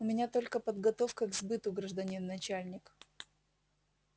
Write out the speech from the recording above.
у меня только подготовка к сбыту гражданин начальник